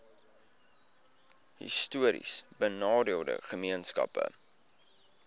histories benadeelde gemeenskappe